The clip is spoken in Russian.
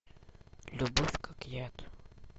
любовь как яд